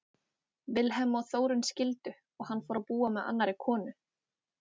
Vilhelm og Þórunn skildu og hann fór að búa með annarri konu.